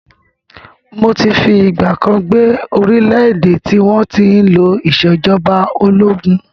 Mó ti fi ìgbàkan gbé orílẹ̀ èdè tí wọn tí ń lò ìsèjọba ológun